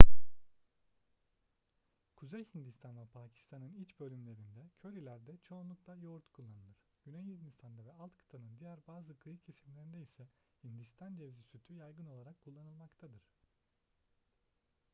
kuzey hindistan ve pakistan'ın iç bölümlerinde körilerde çoğunlukla yoğurt kullanılır güney hindistan'da ve alt kıtanın diğer bazı kıyı kesimlerinde ise hindistan cevizi sütü yaygın olarak kullanılmaktadır